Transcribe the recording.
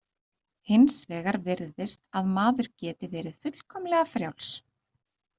Hins vegar virðist að maður geti verið fullkomlega frjáls.